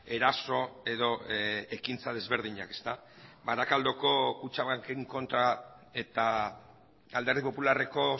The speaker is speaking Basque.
eraso edo ekintza desberdinak barakaldoko kutxabanken kontra eta alderdi popularreko